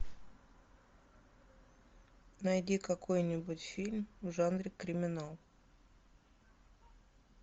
найди какой нибудь фильм в жанре криминал